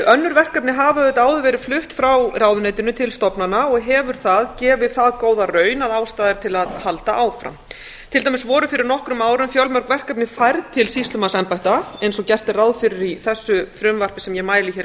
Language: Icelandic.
önnur verkefni hafa auðvitað áður verið flutt frá ráðuneytinu til stofnana og hefur það gefið það góða raun að ástæða er til að halda áfram á voru fyrir nokkrum árum fjölmörg verkefni færð til sýslumannsembætta eins og gert er ráð fyrir í þessu frumvarpi sem ég mæli hér